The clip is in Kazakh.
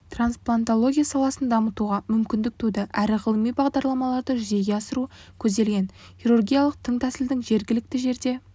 трансплантология саласын дамытуға мүмкіндік туды әрі ғылыми бағдарламаларды жүзеге асыру көзделген хирургиялық тың тәсілдің жергілікті жерде